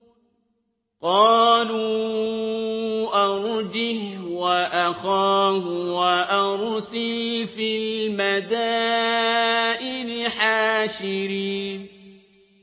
قَالُوا أَرْجِهْ وَأَخَاهُ وَأَرْسِلْ فِي الْمَدَائِنِ حَاشِرِينَ